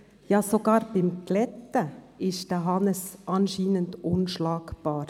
Ja, sogar beim Bügeln ist Hannes Zaugg anscheinend unschlagbar!